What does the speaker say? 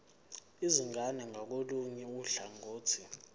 izingane ngakolunye uhlangothi